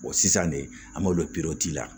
sisan de an b'olu la